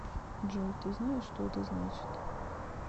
джой ты знаешь что это значит